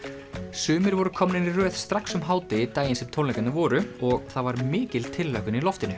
sumir voru komnir í röð strax um hádegi daginn sem tónleikarnir voru og það var mikil tilhlökkun í loftinu